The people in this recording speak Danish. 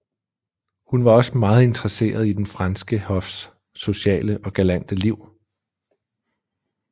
Hun var også meget interesseret i den franske hofs sociale og galante liv